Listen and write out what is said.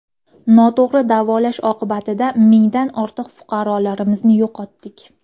Noto‘g‘ri davolash oqibatida mingdan ortiq fuqarolarimizni yo‘qotdik.